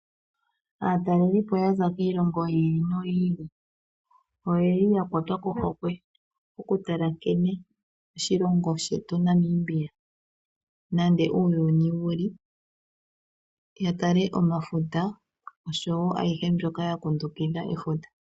Aatalelipo yaza kiilongo yi ili noyi ili oyeli ya kwatwa kohokwe oku tala nkene oshilongo shetu Namibia nande uuyuni wuli ya tale omafuta oshowo ayihe mbyoka ya kundukidhwa efuta.